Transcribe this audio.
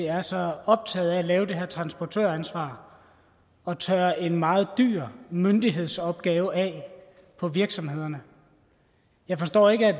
er så optaget af at lave det her transportøransvar og tørre en meget dyr myndighedsopgave af på virksomhederne jeg forstår ikke at